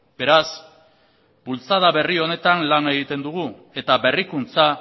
beraz bultzada berri honetan lan egiten dugu eta berrikuntza